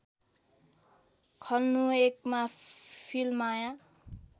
खल्नुयकमा फिल्माया